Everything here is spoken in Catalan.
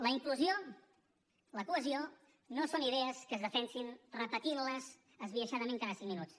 la inclusió la cohesió no són idees que es defensin repetint les esbiaixadament cada cinc minuts